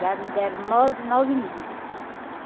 Já me deram nove nove mil.